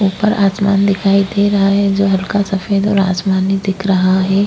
उपर आसमान दिखाई दे रहा है जो हल्का सफ़ेद और आसमानी दिख रहा है।